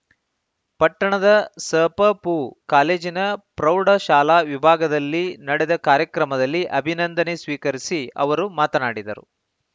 ಪಟ್ಟಣದ ಸಪಪೂ ಕಾಲೇಜಿನ ಪ್ರೌಢ ಶಾಲಾ ವಿಭಾಗದಲ್ಲಿ ನಡೆದ ಕಾರ್ಯಕ್ರಮದಲ್ಲಿ ಅಭಿನಂದನೆ ಸ್ವೀಕರಿಸಿ ಅವರು ಮಾತನಾಡಿದರು